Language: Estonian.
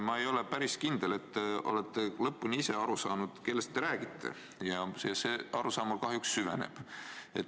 Ma ei ole päris kindel, kas te ise olete lõpuni aru saanud, kellest te räägite, ja see arusaam minus kahjuks süveneb.